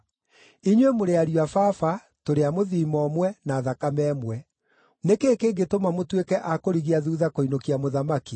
Inyuĩ mũrĩ ariũ a baba, tũrĩ a mũthiimo ũmwe, na thakame ĩmwe. Nĩ kĩĩ kĩngĩtũma mũtuĩke a kũrigia thuutha kũinũkia mũthamaki?’